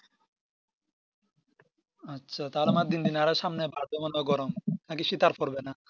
আচ্ছা তার মানে দিন দিন আরো সামনে বাড়বে মনে হয় গরম নাকি শীত আর পর্বে না